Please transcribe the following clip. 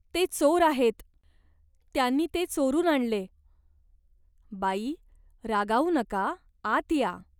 ते चोर आहेत. त्यांनी ते चोरून आणले." "बाई, रागावू नका, आत या.